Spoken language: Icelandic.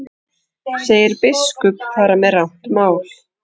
Segir biskup fara með rangt mál